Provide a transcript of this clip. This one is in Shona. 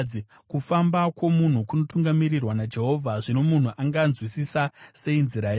Kufamba kwomunhu kunotungamirirwa naJehovha. Zvino munhu anganzwisisa sei nzira yake?